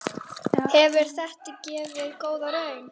Hefur þetta gefið góða raun?